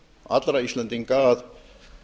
allra íslendinga að